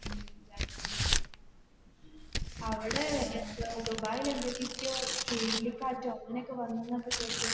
അവിടെ എന്തുവാ ദുബായിൽ എന്തുക്കൊക്കെയോ ചുഴലികാറ്റോ അങ്ങനെ ഒക്കെ വന്നെന്ന് കേട്ട്.